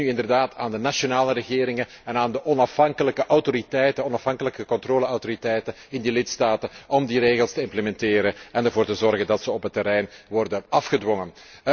Het is nu inderdaad aan de nationale regeringen en aan de onafhankelijke controleautoriteiten in de lidstaten om die regels te implementeren en ervoor te zorgen dat zij op het terrein worden afgedwongen.